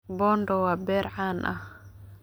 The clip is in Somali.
Bondo waa beer caan ah.